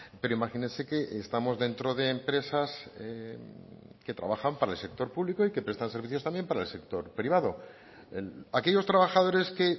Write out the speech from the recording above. pero imagínese que estamos dentro de empresas que trabajan para el sector público y que prestan servicios también para el sector privado aquellos trabajadores que